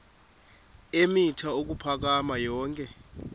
eemitha ukuphakama yonke